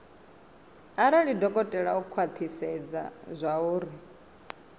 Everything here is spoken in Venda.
arali dokotela o khwathisedza zwauri